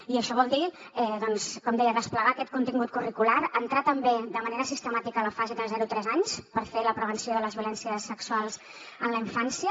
i això vol dir doncs com deia desplegar aquest contingut curricular entrar també de manera sistemàtica a la fase de zero a tres anys per fer la prevenció de les violències sexuals en la infància